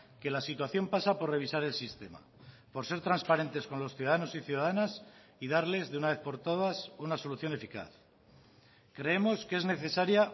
que la situación pasa por revisar el sistema por ser transparentes con los ciudadanos y ciudadanas y darles de una vez por todas una solución eficaz creemos que es necesaria